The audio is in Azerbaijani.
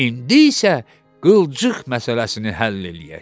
İndi isə qılçıq məsələsini həll eləyək.